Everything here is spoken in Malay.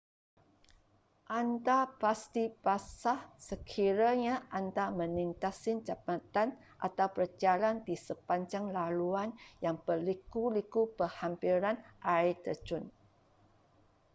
anda pasti basah sekiranya anda melintasi jambatan atau berjalan di sepanjang laluan yang berliku-liku berhampiran air terjun